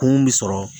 Kun bi sɔrɔ